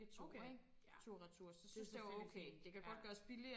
Okay ja det selvfølgelig fint ja